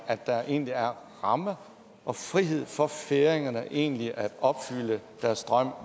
at der egentlig er rammer og frihed for færingerne til egentlig at opfylde deres drøm